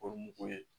O mugu ye